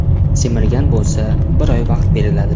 Semirgan bo‘lsa, bir oy vaqt beriladi.